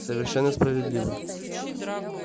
совершенно справедливо